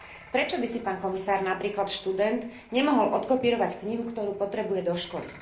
Prečo by si, pán komisár, napríklad študent nemohol odkopírovať knihu, ktorú potrebuje do školy?